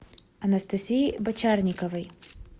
анастасии бочарниковой